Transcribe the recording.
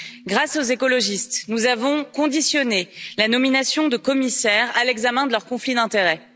Grâce aux écologistes, nous avons conditionné la nomination de commissaires à l'examen de leurs conflits d'intérêts.